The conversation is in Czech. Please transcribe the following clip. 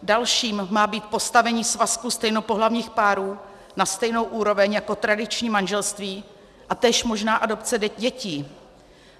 Dalším má být postavení svazku stejnopohlavních párů na stejnou úroveň jako tradiční manželství a též možná adopce dětí.